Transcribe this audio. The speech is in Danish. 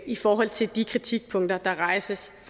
i forhold til de kritikpunkter der rejses